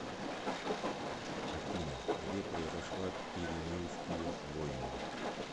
афина где произошла пиренейские войны